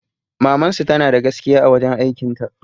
Mamansu tanada gaskiya a wajen aikin ta